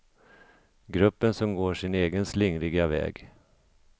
Gruppen som går sin egen slingriga väg.